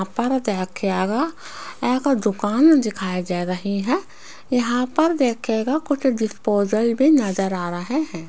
यहां पर देखिएगा एक दुकान दिखाई दे रही है यहां पर देखिएगा कुछ डिस्पोजल भी नजर आ रहे हैं।